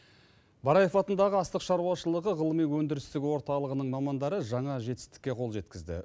бараев атындағы астық шаруашылығы ғылыми өндірістік орталығының мамандары жаңа жетістікке қол жеткізді